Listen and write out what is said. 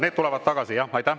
Need tulevad tagasi, jah.